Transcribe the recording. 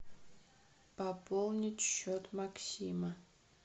пополнить счет максима